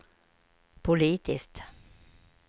politiskt